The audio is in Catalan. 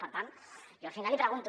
per tant jo al final l’hi pregunto